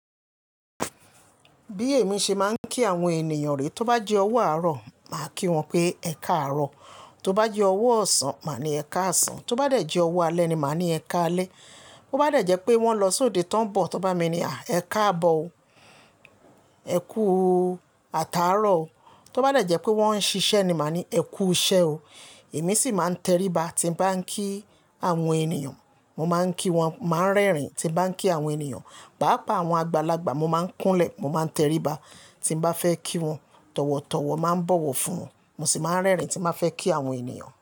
Bí èmi ṣe máa ń kí àwọn ènìyàn re, tó bá jẹ́ owó àárọ̀, màá kí wọn pé "Ẹ káàárọ̀". Tó bá jẹ́ owó ọ̀sán, màá ní "Ẹ káàsán". Tó bá de jẹ́ owó alẹ́ ni màá ní "Ẹ káalẹ́". Bo bá dà jẹ́ pé wọ́n lọ sóde tán bọ̀, tó bá mi ni, "Ẹ káàbọ̀ o", "Ẹ kúù ataárọ̀ o". Tó bá dà jẹ́ pé wọ́n ń ṣiṣẹ́ ni màá ní "Ẹ kúù iṣẹ́ o". Èmi sì máa ń teriba tí bá ń kí àwọn ènìyàn. Mo máa ń kí wọn, màá ń rẹ́rìn-ín tí bá ń kí àwọn ènìyàn. Paápa àwọn àgbàlagbà, mo máa ń kúnlẹ̀, mo máa ń teriba tí n bá fẹ́ kí wọn. Tọ̀wọ̀tọ̀wọ̀ máa ń bọ̀wọ̀ fún wọn, mo sì máa ń rẹ́rìn-ín tí màá fẹ́ kí àwọn ènìyàn.